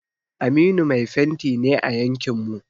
Aminu mai fenti ne a yankin mu.